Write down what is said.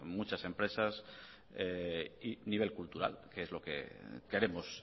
muchas empresas y nivel cultural que es lo que queremos